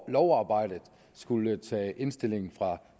i lovarbejdet skulle tage indstillingen fra